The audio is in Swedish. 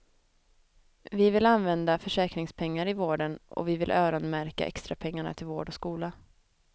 Vi vill använda försäkringspengar i vården och vi vill öronmärka extrapengarna till vård och skola.